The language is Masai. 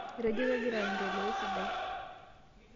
Etejo kegira aendelea esidai.